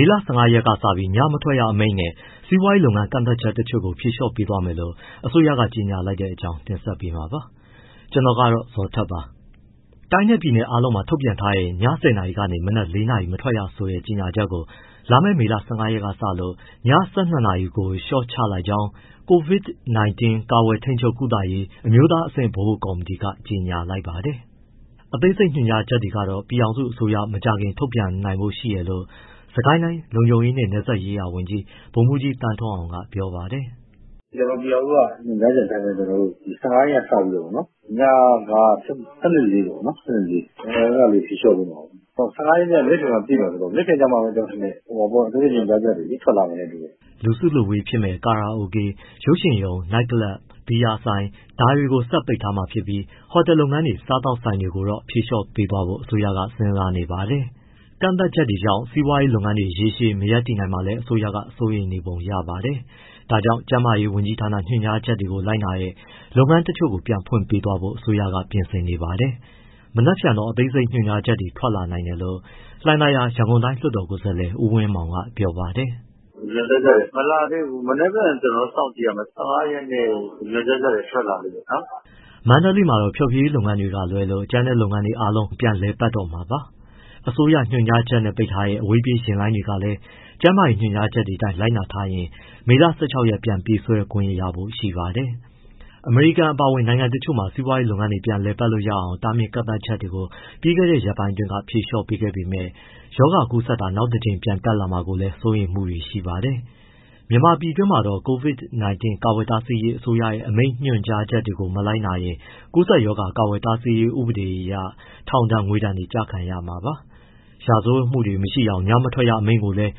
ေလ ၁၅ ရက်ကစပြီး ညမထွက်ရ အမိန့်နဲ့ စီးပွားရေးလုပ်ငန်း ကန့်သတ်ချက်တချို့ကို ဖြေလျှော့ပေးသွားမယ်လို့ အစိုးရက ကြေညာလိုက်တဲ့အကြောင်းကို ဗွီအိုအေ မြန်မာပိုင်းသတင်းထောက် ကိုဇော်ထက်က တင်ဆက်ပေးမှာပါ။ တိုင်းနဲ့ ပြည်နယ်အားလုံးမှာ ထုတ်ပြန်ထားတဲ့ ည ၁၀ နာရီက မနက် ၄ နာရီ မထွက်ရဆိုတဲ့ ကြေညာချက်ကို လာမယ့်မေလ ၁၅ ရက်က စလို့ ည ၁၂ ကို လျှော့ချလိုက်ကြောင်း COVID-19 ကာကွယ်၊ ထိန်းချုပ်၊ ကုသရေး အမျိုးသားအဆင့် ဗဟိုကော်မတီက ကြေညာလိုက်ပါတယ်။ အသေးစိတ်ညွှန်ကြားချက်တွေကတော့ ပြည်ထောင်စုအစိုးရက မကြာခင်ထုတ်ပြန်ဖို့ ရှိနိုင်တယ်လို့ စစ်ကိုင်းတိုင်း လုံခြုံရေး၊ နယ်စပ်ရေးရာဝန်ကြီး ဗိုလ်မှူးကြီးသန်းထွန်းအောင်က ပြောပါတယ်။ “ပြည်ထောင်စုက ညွှန်ကြားချက်အတိုင်းပဲ ကျနော်တို့ ဒီ ၁၅ ရက်က စပြီးတော့ပေါ့နော်... ညက ၁၂-၄ ပေါ့နော်၊ အဲဒါလေး ဖြေလျှော့ပေးမှာပေါ့။ ၁၅ ရက်က မနက်ဖြန်မှ ပြည့်မှာဆိုတော့ မနက်ဖြန်ကျမှ ကျနော်ထင်တယ် အသေးစိတ် ညွှန်ကြားချက်တွေ ထွက်လာမယ်နဲ့ တူတယ်။” လူစုလူဝေးဖြစ်မယ့် ကာရာအိုကေ၊ ရုပ်ရှင်ရုံ၊ နိုက်ကလပ်၊ ဘီယာဆိုင်ဒါတွေကို ဆက်ပိတ်ထားပြီး ဟိုတယ်လုပ်ငန်းတွေ၊ စားသောက်ဆိုင်တွေ ဒါတွေကိုတော့ ဖြေလျှော့ပေးဖို့ အစိုးရက စဉ်းစားနေပါတယ်။ ကန့်သတ်မှုတွေကြောင့် စီးပွားရေးလုပ်ငန်းတွေ ရေရှည် မရပ်တည်နိုင်မှာလည်း အစိုးရက စိုးရိမ်နေပုံရပါတယ်။ ဒါကြောင့် ကျန်းမာရေး ဝန်ကြီးဌာန ညွှန်ကြားချက်တွေ လိုက်နာတဲ့ လုပ်ငန်းတချို့ကို ဖွင့်ခွင့်ပေးဖို့ အစိုးရက ပြင်ဆင်နေပါတယ်။ မနက်ဖြန်တော့ အသေးစိတ်ညွှန်ကြားချက်တွေ ထွက်လာနိုင်တယ်လို့ လှိုင်သာယာ ရန်ကုန်တိုင်းကိုယ်စားလှယ် ဦးဝင်းမောင်က ပြောပါတယ်။ “ညွှန်ကြားချက်တွေ မလာသေးဘူး။ မနက်ဖြန်ကျနော်တို့ စောင့်ကြည့်ရမယ်။ ၁၅ ရက်ကို ညွှန်ကြားချက်တွေ ထွက်လာလိမ့်မယ်နော်။” မန္တလေးမှာတော့ ဖျော်ဖြေရေးလုပ်ငန်းတွေက လွဲလို့ ကျန်တဲ့လုပ်ငန်းတွေအားလုံး ပြန်လည်ပတ်တော့မှာပါ။ အစိုးရ ညွှန်ကြားချက်နဲ့ ပိတ်ထားတဲ့ အဝေးပြေးယာဉ်လိုင်းတွေလည်း ကျန်းမာရေးညွှန်ကြားချက်တွေအတိုင်း လိုက်နာထားရင် မေလ ၁၆ ရက်မှာ ပြန်ပြေးဆွဲခွင့်ရဖို့ ရှိပါတယ်။ အမေရိကန်အပါအဝင် နိုင်ငံတချို့မှာ စီးပွားရေးလုပ်ငန်းတွေ ပြန်လည်ပတ်လို့ရအောင် တားမြစ်ကန့်သတ်ချက်တွေကို ပြီးခဲ့တဲ့ ရက်ပိုင်းက ဖြေလျှော့ပေးခဲ့ပေမဲ့ ရောဂါကူးစက်တာ နောက်တကြိမ် ပြန်တက်လာမှာကိုလည်း စိုးရိမ်မှုတွေ ရှိပါတယ်။ မြန်မာပြည်တွင်းမှာ COVID-19 ကာကွယ်တားဆီးရေး အစိုးရရဲ့ အမိန့်ညွှန်ကြားချက်တွေကို မလိုက်နာရင် ကူးစက်ရောဂါကာကွယ်တားဆီးရေး ဥပဒေအရ ထောင်ဒဏ်၊ ငွေဒဏ် ကျခံရမှာပါ။ ရာဇဝတ်မှုတွေ မရှိအောင် ညမထွက်ရအမိန့်ကိုလည်း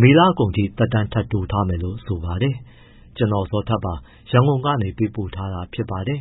မေလကုန်ထိ သက်တမ်း ထပ်တိုးထားမယ်လို့ ဆိုပါတယ်။ ကျနော် ဇော်ထက်ပါ ရန်ကုန်ကနေ ပေးပို့ထားတာ ဖြစ်ပါတယ်